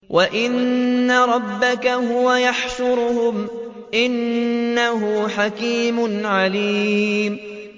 وَإِنَّ رَبَّكَ هُوَ يَحْشُرُهُمْ ۚ إِنَّهُ حَكِيمٌ عَلِيمٌ